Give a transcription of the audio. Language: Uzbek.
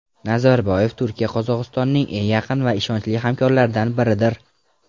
Nazarboyev: Turkiya Qozog‘istonning eng yaqin va ishonchli hamkorlaridan biridir.